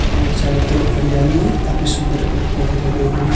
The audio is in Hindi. और चारो तरफ हरियाली है काफी सुन्दर पेड़-पौधे लगे हुए है।